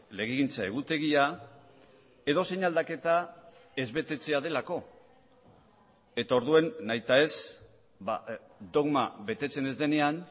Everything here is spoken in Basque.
legegintza egutegia edozein aldaketa ez betetzea delako eta orduan nahita ez dogma betetzen ez denean